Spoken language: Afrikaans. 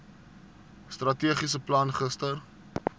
strategiese plan gister